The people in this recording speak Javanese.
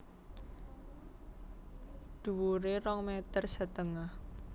Dhuwuré rong meter setengah